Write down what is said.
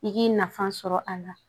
I k'i nafa sɔrɔ a la